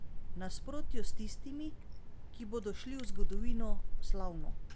V nasprotju s tistimi, ki bodo šli v zgodovino slavno!